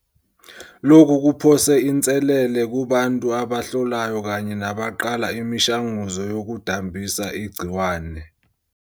Lokhu kuphose inselele kubantu abahlolayo kanye nabaqala imishanguzo yokudambisa igciwane.